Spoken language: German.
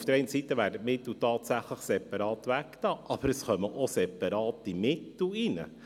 Auf der einen Seite werden die Mittel tatsächlich separat beiseitegelegt, aber es gehen auch separate Mittel ein.